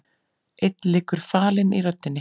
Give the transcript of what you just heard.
Einn liggur falinn í röddinni.